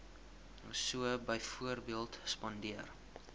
so byvoorbeeld spandeer